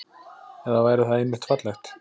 Eða væri það einmitt fallegt?